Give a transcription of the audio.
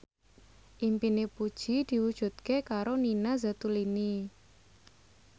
impine Puji diwujudke karo Nina Zatulini